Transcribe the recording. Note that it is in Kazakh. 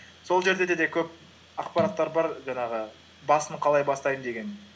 сол жерде де көп ақпараттар бар жаңағы басын қалай бастаймын деген